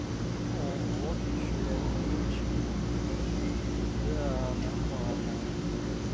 ого ты ещё и алиментщик да нормально